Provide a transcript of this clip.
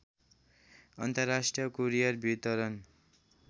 अन्तर्राष्ट्रिय कुरियर वितरण